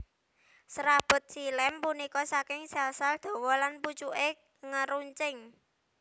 Serabut xilem punika saking sel sel dhawa lan pucuke ngeruncing